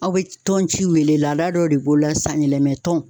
Aw be tɔn ciw wele laada dɔ de b'o la san yɛlɛma tɔn